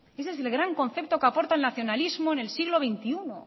ese es el gran concepto que aporta el nacionalismo en el siglo veintiuno